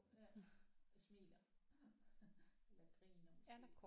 Ja der smiler eller griner måske